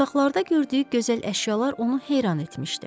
Otaqlarda gördüyü gözəl əşyalar onu heyran etmişdi.